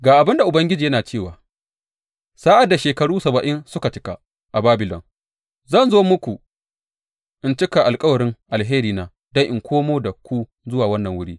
Ga abin da Ubangiji yana cewa, Sa’ad da shekaru saba’in suka cika a Babilon, zan zo muku in cika alkawarin alherina don in komo da ku zuwa wannan wuri.